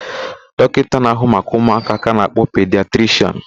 Dọkịta na-ahụ maka ụmụaka ka a na-akpọ pidiatrishịan.